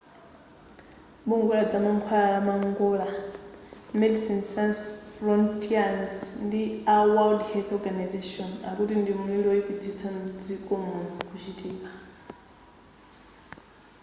bungwe ladzamankhwala la mangola medecines sans frontieres ndi a world health organisation akuti ndi mlili woyipitsisa mdziko muno kuchitika